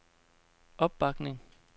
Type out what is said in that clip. opbakning